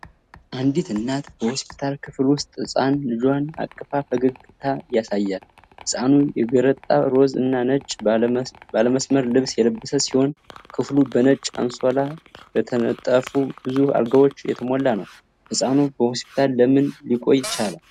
አንዲት እናት በሆስፒታል ክፍል ውስጥ ህፃን ልጇን አቅፋ ፈገግታ ያሳያል። ህፃኑ የገረጣ ሮዝ እና ነጭ ባለመስመር ልብስ የለበሰ ሲሆን፣ ክፍሉ በነጭ አንሶላ በተነጠፉ ብዙ አልጋዎች የተሞላ ነው። ህፃኑ በሆስፒታል ለምን ሊቆይ ቻለ?